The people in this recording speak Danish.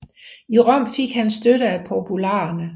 I Rom fik han støtte af popularerne